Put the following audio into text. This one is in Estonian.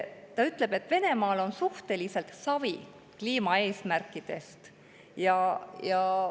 Ta ütleb, et Venemaal on suhteliselt savi kliimaeesmärkidest.